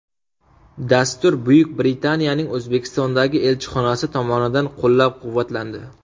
Dastur Buyuk Britaniyaning O‘zbekistondagi elchixonasi tomonidan qo‘llab-quvvatlandi.